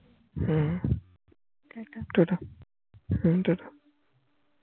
হম টাটা টাটা হম টাটা